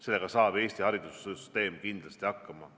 Sellega saab Eesti haridussüsteem kindlasti hakkama.